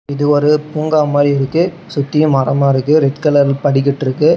இது ஒரு பூங்கா மாரி இருக்கு சுத்தியும் மரமா இருக்கு ரெட் கலர் படிக்கட்டு இருக்கு.